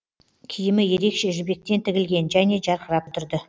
киімі ерекше жібектен тігілген және жарқырап тұрды